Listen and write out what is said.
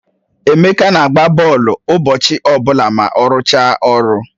Emeka na-agba bọọlụ ụbọchị ọbụla ma ọ rụchaa ọrụ